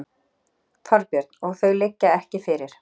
Þorbjörn: Og þau liggja ekki fyrir?